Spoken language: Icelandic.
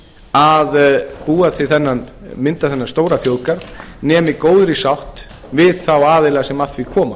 að mynda þennan stóra þjóðgarð nema í góðri sátt við þá aðila sem að því koma